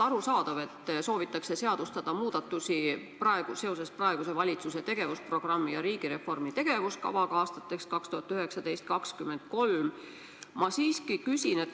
Arusaadav, et soovitakse seadustada muudatusi seoses praeguse valitsuse tegevusprogrammi ja riigireformi tegevuskavaga aastateks 2019–2023.